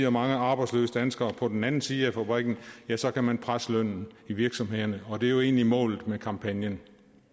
og mange arbejdsløse danskere på den anden side af fabrikken ja så kan man presse lønnen i virksomhederne og det er jo egentlig målet med kampagnen